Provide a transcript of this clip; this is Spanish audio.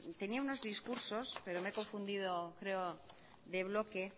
tenía unos discursos pero me he confundido creo de bloque